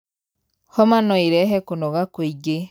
Homa noĩerehe kũnoga kwĩingĩ.